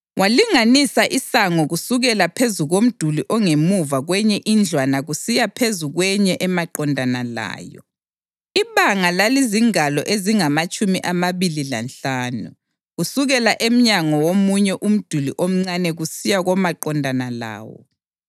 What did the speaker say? Walinganisa isango kusukela phezu komduli ongemuva kwenye indlwana kusiya phezu kwenye emaqondana layo; ibanga lalizingalo ezingamatshumi amabili lanhlanu kusukela emnyango womunye umduli omncane kusiya komaqondana lawo.